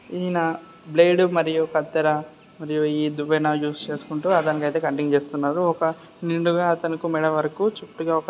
ఈయన బ్లేడ్ మరియు కత్తెర మరియు ఈ దువ్వెన యూజ్ చేసుకుంటు అతనికి అయితే కటింగ్ చేస్తున్నారు ఒక నిండుగా అతను మెడ వరకు చుట్టుగా --